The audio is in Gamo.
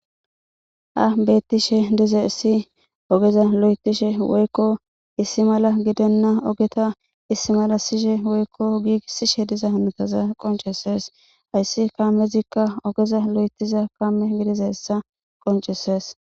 Ha beettishe dizayssi ogeza loyttishe woykko issi mala gidenna ogeta issi malassishe woykko giigissishe diza oza qonccisissees. Hayssi kaamezikka ogeza loythiza kaame gidiyayssa qonccissees.